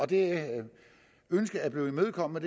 det ønske er blevet imødekommet